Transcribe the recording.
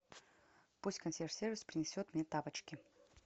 пусть консьерж сервис принесет мне тапочки